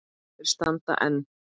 Þeir standa enn.